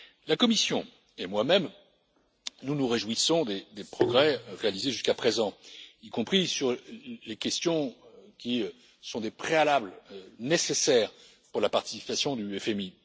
dépenses. La Commission et moi même, nous nous réjouissons des progrès réalisés jusqu'à présent, y compris dans les questions qui sont des préalables nécessaires pour la participation